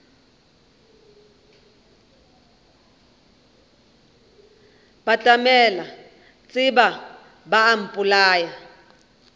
batamela šeba ba a mpolaya